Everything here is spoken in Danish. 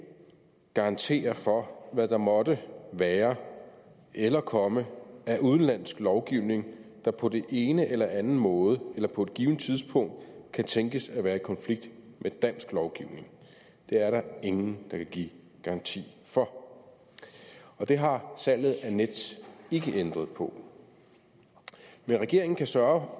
garantere for hvad der måtte være eller komme af udenlandsk lovgivning der på den ene eller den anden måde eller på et givent tidspunkt kan tænkes at være i konflikt med dansk lovgivning det er der ingen der kan give garanti for og det har salget af nets ikke ændret på men regeringen kan sørge